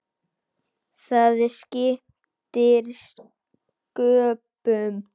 Það skiptir sköpum.